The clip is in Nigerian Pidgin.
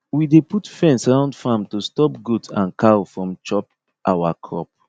we dey put fence round farm to stop goat and cow from chop our crop